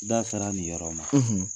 Da sera nin yɔrɔ ma